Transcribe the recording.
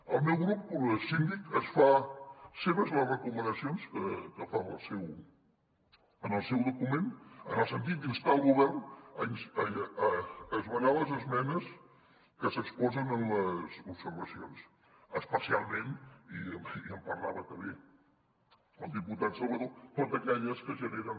el meu grup síndic es fa seves les recomanacions que fa en el seu document en el sentit d’instar el govern a esmenar les esmenes que s’exposen en les observacions especialment i en parlava també el diputat salvadó totes aquelles que generen